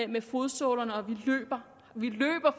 med fodsålerne og at vi løber